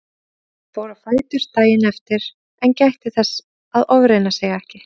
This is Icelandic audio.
Hann fór á fætur daginn eftir en gætti þess að ofreyna sig ekki.